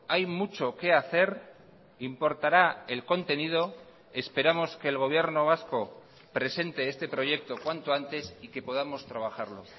hay mucho que hacer importará el contenido esperamos que el gobierno vasco presente este proyecto cuanto antes y que podamos trabajarlo